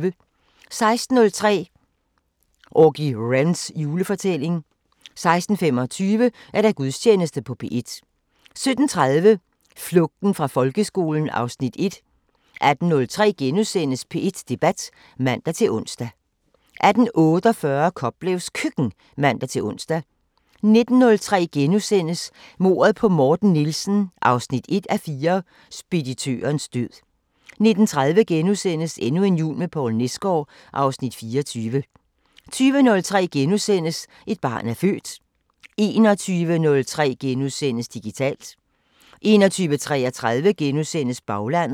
16:03: Auggie Wrens julefortælling 16:25: Gudstjeneste på P1 17:30: Flugten fra folkeskolen (Afs. 1) 18:03: P1 Debat *(man-ons) 18:48: Koplevs Køkken (man-ons) 19:03: Mordet på Morten Nielsen 1:4 – Speditørens død * 19:30: Endnu en jul med Poul Nesgaard (Afs. 24)* 20:03: Et barn er født * 21:03: Digitalt * 21:33: Baglandet *